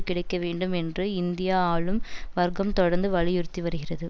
கிடைக்கவேண்டும் என்று இந்தியா ஆளும் வர்க்கம் தொடர்ந்து வலியுறுத்தி வருகிறது